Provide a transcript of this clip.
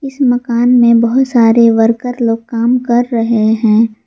इस मकान में बहुत सारे वर्कर लोग काम कर रहे हैं।